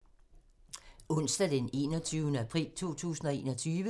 Onsdag d. 21. april 2021